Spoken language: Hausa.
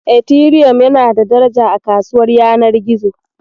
Etiriyom yana da daraja a kasuwar yanar gizo.